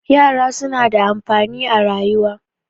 yara suna da amfani a rayuwa